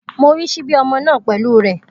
Mo rí ṣíbí ọmọ náà pẹ̀lú rẹ̀.